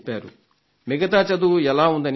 మిగతా చదువు ఎలా ఉందని అడిగాను